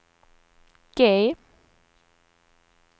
G